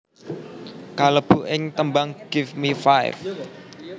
kalebu ing tembang Give Me Five